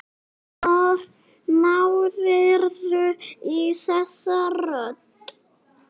Hvar náðirðu í þessa rödd?